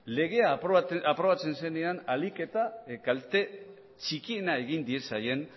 legea aprobatzen zenean ahalik eta kalte txikiena egin diezaien